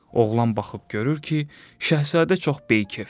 Oğlan baxıb görür ki, şahzadə çox beykefdir.